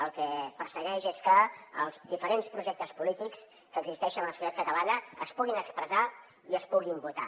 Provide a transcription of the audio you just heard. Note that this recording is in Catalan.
el que persegueix és que els diferents projectes polítics que existeixen a la societat catalana es puguin expressar i es puguin votar